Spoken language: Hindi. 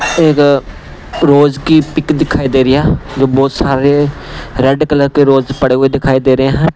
एक रोज की पिक दिखाई दे रही हैजो बहुत सारे रेड कलर के रोज पड़े हुए दिखाई दे रहे हैं।